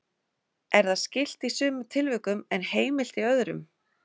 er það skylt í sumum tilvikum en heimilt í öðrum